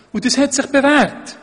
Das hat sich bewährt.